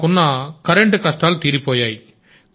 మాకున్న కరెంటు కష్టాలు తీరిపోయాయి